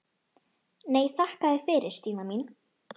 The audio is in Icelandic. Nei, þakka þér fyrir Stína mín.